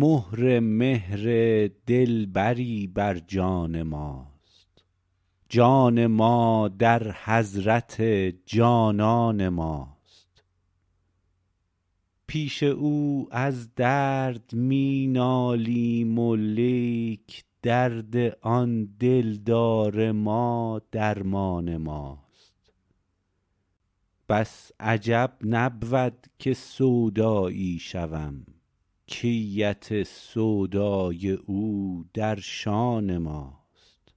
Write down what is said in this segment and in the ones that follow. مهر مهر دلبری بر جان ماست جان ما در حضرت جانان ماست پیش او از درد می نالم ولیک درد آن دلدار ما درمان ماست بس عجب نبود که سودایی شوم کیت سودای او در شان ماست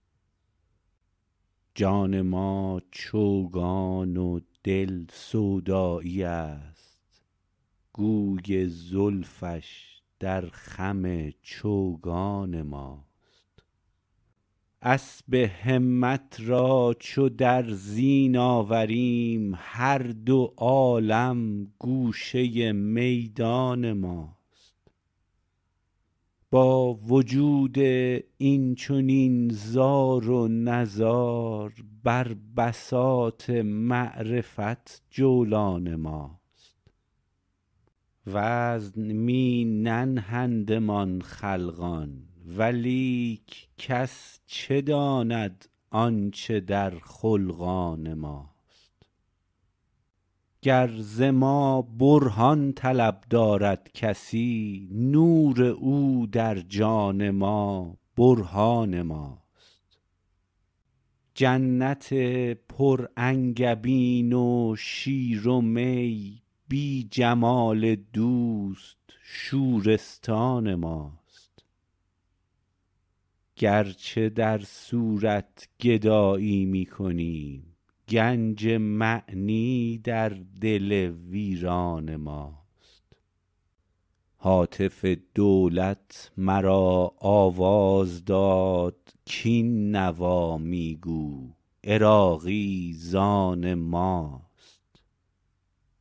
جان ما چوگان و دل سودایی است گوی زلفش در خم چوگان ماست اسب همت را چو در زین آوریم هر دو عالم گوشه میدان ماست با وجود این چنین زار و نزار بر بساط معرفت جولان ماست وزن می ننهندمان خلقان ولیک کس چه داند آنچه در خلقان ماست گر ز ما برهان طلب دارد کسی نور او در جان ما برهان ماست جنت پر انگبین و شیر و می بی جمال دوست شورستان ماست گرچه در صورت گدایی می کنیم گنج معنی در دل ویران ماست هاتف دولت مرا آواز داد کین نوامی گو عراقی ز آن ماست